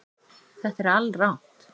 Þetta er alrangt